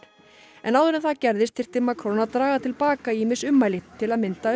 en áður en það gerðist þyrfti Macron að draga til baka ýmis ummæli til að mynda um